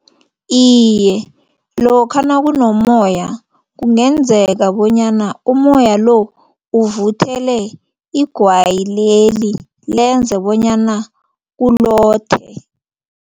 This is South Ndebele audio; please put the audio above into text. Iye, lokha nakunommoya kungenzeka bonyana ummoya lo uvuthele igwayi leli lenza bonyana ulothe.